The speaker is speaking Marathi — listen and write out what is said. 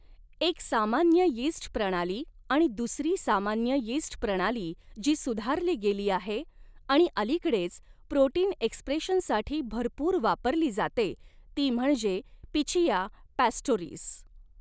एक सामान्य यीस्ट प्रणाली आणि दुसरी सामान्य यीस्ट प्रणाली जी सुधारली गेली आहे आणि अलीकडेच प्रोटीन एक्सप्रेशनसाठी भरपूर वापरली जाते ती म्हणजे पिचिया पॕस्टोरिस.